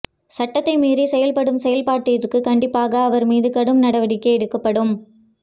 சட்டத்தை மீறி செயல்படும் செயல்பட்டதற்கு கண்டிப்பாக அவர் மீது கடும் நடவடிக்கை எடுக்கப்படும்